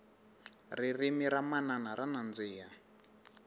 ririmi ra manana ra nandzika